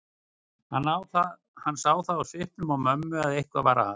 Hann sá það á svipnum á mömmu að eitthvað var að.